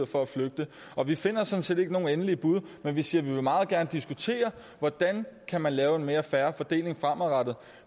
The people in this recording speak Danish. for at flygte og vi finder sådan set ikke nogen endelige bud men vi siger at vi meget gerne vil diskutere hvordan man kan lave en mere fair fordeling fremadrettet